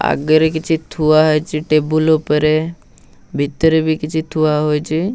ଆଗେରେ କିଛି ଥୁଆ ହେଇଚି ଟେବୁଲ ଉପରେ। ଭିତରେ ବି କିଛି ଥୁଆ ହୋଇଚି।